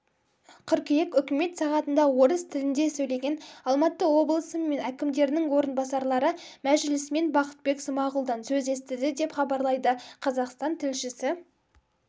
қыркүйек үкімет сағатында орыс тілінде сөйлеген алматы облысы мен әкімдерінің орынбасарлары мәжілісмен бақытбек смағұлдан сөз естіді деп хабарлайды қазақстан тілшісі